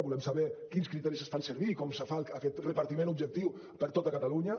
volem saber quins criteris es fan servir i com es fa aquest repartiment objectiu per a tot catalunya